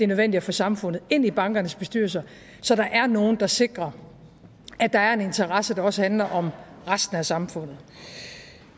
nødvendigt at få samfundet ind i bankernes bestyrelser så der er nogle der sikrer at der er en interesse der også handler om resten af samfundet